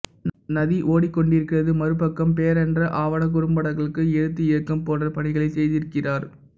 நதி ஓடி கொண்டிருக்கிறது மறுபக்கம் பேரன்ற ஆவண குறும்படங்களுக்கு எழுத்து இயக்கம் போன்ற பணிகளை செய்திருக்கிறார்